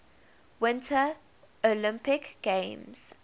winter olympic games